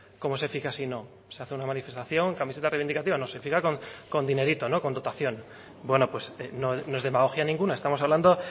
cómo se fija si no se hace una manifestación camiseta reivindicativa no se fija con dinerito no con dotación bueno pues no es demagogia ninguna estamos hablando